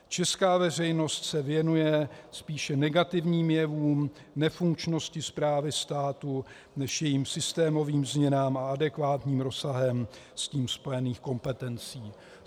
Česká veřejnost se věnuje spíše negativním jevům nefunkčnosti správy státu než jejím systémovým změnám a adekvátním rozsahem s tím spojených kompetencí.